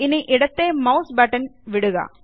ഇനി ഇടത്തേ mouse button വിടുക